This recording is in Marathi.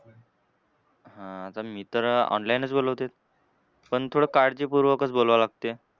हां आता मित्र online च बोलवतेत. पण थोडं काळजीपूर्वकच बोलवावं लागते.